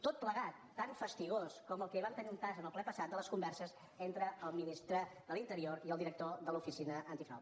tot plegat tan fastigós com el que vam tenir un tast en el ple passat de les converses entre el ministre de l’interior i el director de l’oficina antifrau